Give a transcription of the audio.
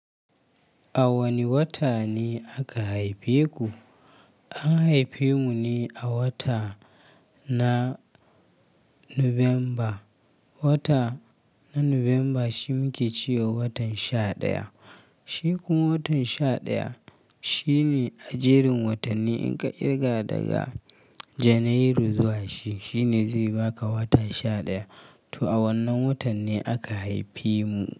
A wane wata ne aka haife ku? An haife mu ne a wata na Nuwamba. Wata na Nuwamba shi muke cewa watan sha ɗaya. Shi kuma watan sha ɗaya shi ne a jerin watanni in ka kirga daga Janairu zuwa shi, shi ne zai baka wata sha ɗaya. To a wannan watan ne aka haifi mu.